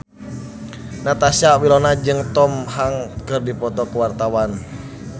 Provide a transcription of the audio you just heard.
Natasha Wilona jeung Tom Hanks keur dipoto ku wartawan